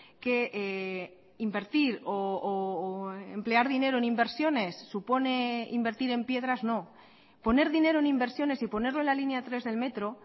que invertir o emplear dinero en inversiones supone invertir en piedras no poner dinero en inversiones y ponerlo en la línea tres del metro